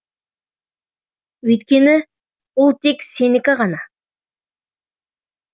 өйткені ол тек сенікі ғана